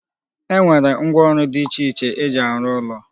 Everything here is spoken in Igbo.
E nwere ngwaọrụ dị iche iche eji arụ ụlọ